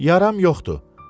Yaram yoxdur.